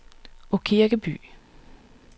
Aakirkeby